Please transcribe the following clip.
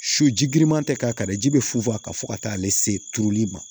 Su ji giriman tɛ k'a kari ji bɛ funfun a kan fo ka taa ale se turuli ma